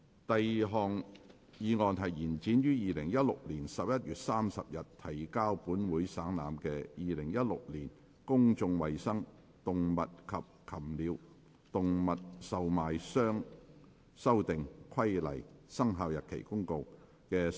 第二項議案：延展於2016年11月30日提交本會省覽的《〈2016年公眾衞生規例〉公告》的修訂期限。